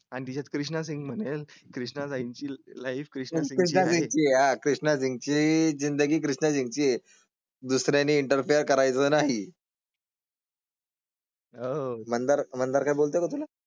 आणि त्यात कृष्णा सिंग मध्ये कृष्णा जाईल ची लाइफ क्रिएशन्स. आहे या कृष्णाजींची जिंदगी चार्जिंगची आहे. दुसर्या एंटरफेअर करायचा नाही. आह मंदार मंदार काय बोलतो तुला.